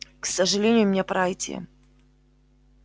к сожалению мне пора идти